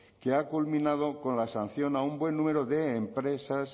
que ha culminado con la sanción a un buen número de empresas